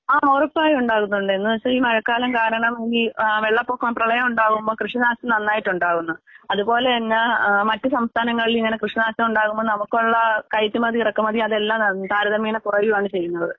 ആഹ് ഒറപ്പായും ഉണ്ടാകുന്നുണ്ട് എന്നുവച്ചാ ഈ മഴക്കാലം കാരണം ഈ ആഹ് വെള്ളപ്പൊക്കം പ്രളയം ഉണ്ടാവുമ്പം കൃഷിനാശം നന്നായിട്ട് ഉണ്ടാകുന്നു. അതുപോലെ തന്നെ ആഹ് മറ്റു സംസ്ഥാനങ്ങളിൽ ഇങ്ങനെ കൃഷി നാശം ഉണ്ടാകുമ്പോൾ നമുക്കൊള്ള കയറ്റുമതി, ഇറക്കുമതി അതെല്ലാം താ താരതമ്യേന കുറയാണ് ചെയ്യുന്നത്.